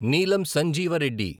Neelam Sanjeeva Reddy